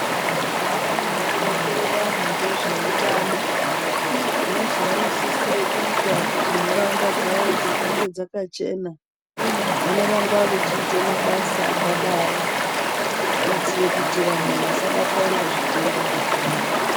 Vanoronzere vanhu ngezveutano nezvavanosisira kuita kuti nharaunda dzavo dzigare dzakachena vanoramba vechiite mabasa akadaro kuitire kuti vanhu vasabatwa nezvitenda zvakawanda.